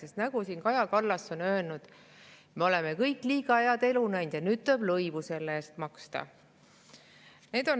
Sest nagu Kaja Kallas on siin öelnud, me oleme kõik liiga head elu näinud ja nüüd tuleb selle eest lõivu maksta.